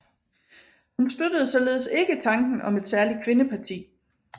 Hun støttede således ikke tanken om et særligt kvindeparti